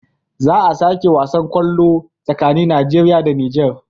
Za a sake wasan kwallo tsakanin nigeria da niger